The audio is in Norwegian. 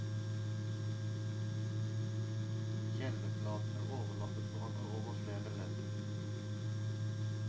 Gjellebladene overlappet hverandre over flere ledd.